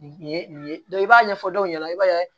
Nin ye nin ye i b'a ɲɛfɔ dɔw ɲɛna i b'a ye